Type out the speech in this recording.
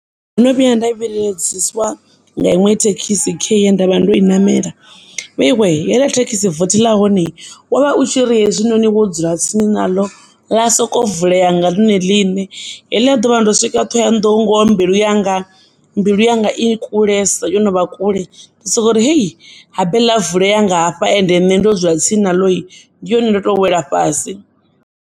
Ndo no vhuya nda vhiledziswa nga iṅwe thekisi khei ndovha ndo i namela, vheiwe heiḽa thekisi vothi ḽa honei wovha u tshiri hezwi musi wo dzula tsini naḽo ḽa sokovuleya nga ḽone ḽine. Heliya ḓuvha ndo swika ṱhohoyanḓou ngoho mbilu yanga i kulesa yo novha kule ndi sokori hei, habe ḽa vuleya ngahafha ende nne ndo dzula tsini naḽoi ndi hone ndoto wela fhasi.